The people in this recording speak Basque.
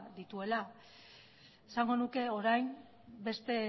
dituela esango nuke orain beste